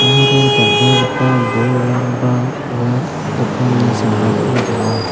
aro dal·dalgipa bolrangba ua dokanni sambao donga.